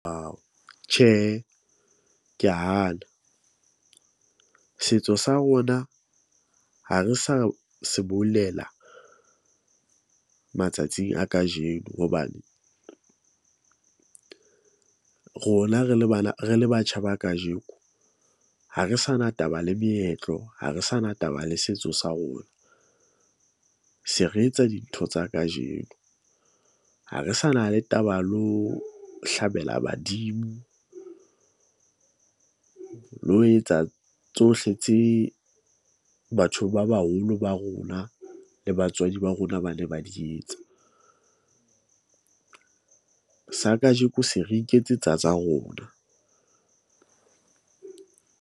Tjhe, ke a hana setso sa rona, ha re sa se boulela matsatsing a kajeno hobane rona re le bana, re le batjha ba kajeko. Ha re sa na taba le meetlo, ha re sa na taba le setso sa rona . Se re etsa dintho tsa kajeno ha re sa na le taba lo hlabela badimo lo etsa tsohle tse batho ba baholo ba rona le batswadi ba rona ba ne ba di etsa . Sa kajeko se re iketsetsa tsa rona.